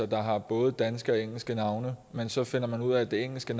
der har både danske og engelske navne men så finder man ud af at det engelske